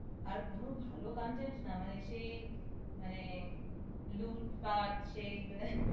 আর কোনো ভাল content না মানে সেই মানে লুটপাট সেই যে